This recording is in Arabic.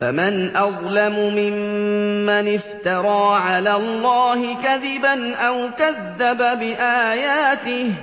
فَمَنْ أَظْلَمُ مِمَّنِ افْتَرَىٰ عَلَى اللَّهِ كَذِبًا أَوْ كَذَّبَ بِآيَاتِهِ ۚ